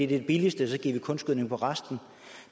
det billigste og så giver de kunstgødning for resten